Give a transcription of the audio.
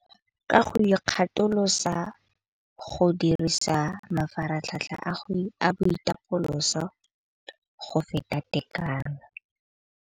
Ka go ikgatholosa go dirisa mafaratlhatlha a boitapoloso go feta tekano.